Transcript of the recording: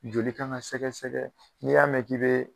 Joli Kan ka sɛgɛsɛgɛ n'i y'a mɛn k'i be